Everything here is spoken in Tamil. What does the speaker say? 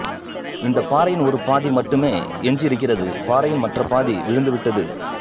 இந்தப் பாறையின் ஒரு பாதி மட்டுமே எஞ்சியிருக்கிறது பாறையின் மற்ற பாதி விழுந்துவிட்டது